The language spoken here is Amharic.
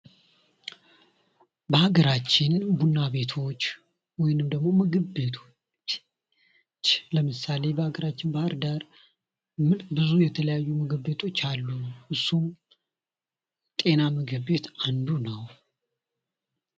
በሀገራችን ቡና ቤቶች ወይም ደግሞ ምግብ ቤቶች ለምሳሌ በሀገራችን ባህር ዳር ብዙ የተለያዩ ምግብ ቤቶች አሉ። እሱም ጤና ምግብ ቤት አንዱ ነው።